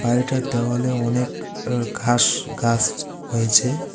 বাড়িটার দেওয়ালে অনেক অ ঘাস গাস হয়েছে।